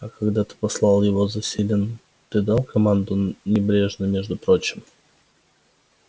а когда ты послал его за селеном ты дал команду небрежно между прочим